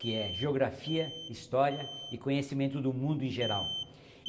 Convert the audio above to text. que é Geografia, História e Conhecimento do Mundo em geral.